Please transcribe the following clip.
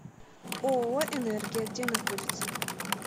ооо энергия где находится